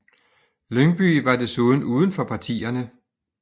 Lyngbye var desuden uden for partierne